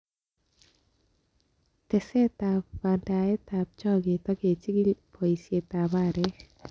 Tesetab bendaetab chooget ak kechigil boisetab aarek.